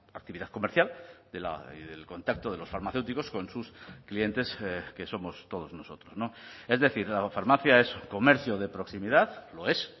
actividad comercial y del contacto de los farmacéuticos con sus clientes que somos todos nosotros es decir la farmacia es comercio de proximidad lo es